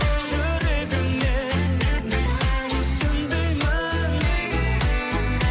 жүрегіңмен түсін деймін